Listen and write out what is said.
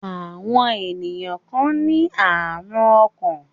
Àwọn ènìyàn kan ní àrùn ọkàn.